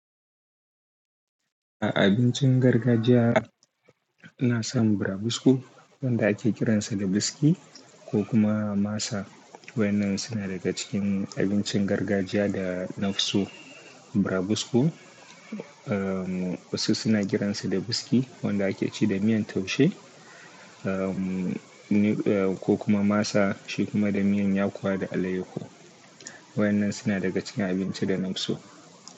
A abincin gargajiya ina son burabusko wanda ake kiransa da “buski” ko kuma “masa”. Wayannan suna daga cikin abincin gargajiya da nafi so. Burabusko, um, wasu suna kiransa da “buski” wanda ake ci da miyan taushe, um, ne, eh, ko kuma masa shi kuma da miyan yakuwa da alayyahu. Wayan nan suna daga cikin abinci da nafsu.